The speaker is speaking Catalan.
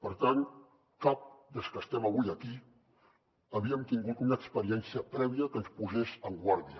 per tant cap dels que estem avui aquí havíem tingut una experiència prèvia que ens posés en guàrdia